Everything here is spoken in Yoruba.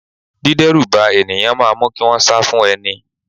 Dideruba ènìyàn máa mu kí wọn sá fún ẹni.